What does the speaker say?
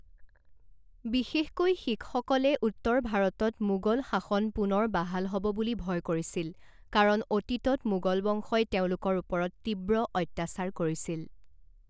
বিশেষকৈ শিখসকলে উত্তৰ ভাৰতত মোগল শাসন পুনৰ বাহাল হ'ব বুলি ভয় কৰিছিল কাৰণ অতীতত মোগল বংশই তেওঁলোকৰ ওপৰত তীব্ৰ অত্যাচাৰ কৰিছিল।